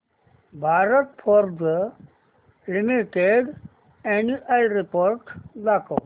Bharat Forge limited annual report दाखव